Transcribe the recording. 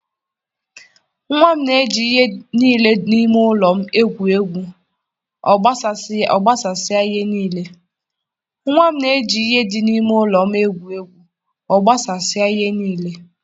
Nwa m na-eji ihe niile dị n'ime ụlọ m egwu egwu, ọ gbasasịa ihe niile.